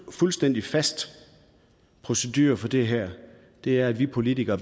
fuldstændig fast procedure for det her og det er at vi politikere